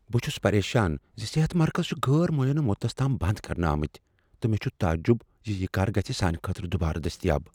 بہٕ چُھس پریشان زِ صحت مرکز چھ غٲر معینہ مدتس تام بنٛد كرنہٕ آمُت تہٕ مے٘ چُھ تعجِب زِ یہ کر گژھِ سانِہ خٲطرٕ دوبارٕ دٔستیاب۔